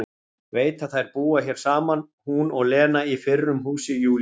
Veit að þær búa hér saman hún og Lena í fyrrum húsi Júlíu.